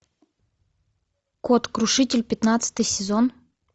кот крушитель пятнадцатый сезон